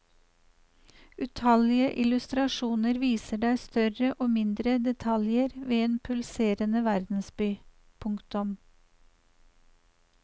Utallige illustrasjoner viser deg større og mindre detaljer ved en pulserende verdensby. punktum